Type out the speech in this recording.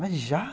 Mas já?